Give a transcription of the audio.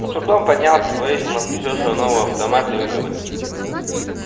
он с трудом поднялся повесил на плечо свой новый автомат и выговорил